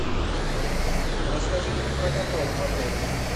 расскажи мне про каток в отеле